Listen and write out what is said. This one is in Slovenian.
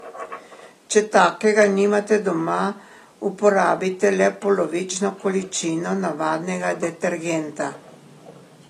Če takega nimate doma, uporabite le polovično količino navadnega detergenta.